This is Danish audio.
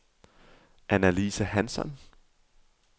Annalise Hansson